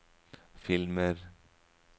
filmer